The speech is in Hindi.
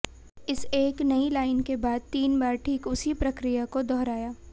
इस एक नई लाइन के बाद तीन बार ठीक उसी प्रक्रिया को दोहराया